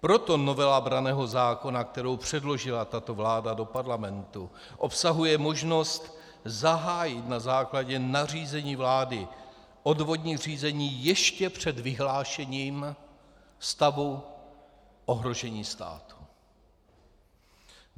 Proto novela branného zákona, kterou předložila tato vláda do parlamentu, obsahuje možnost zahájit na základě nařízení vlády odvodní řízení ještě před vyhlášením stavu ohrožení státu.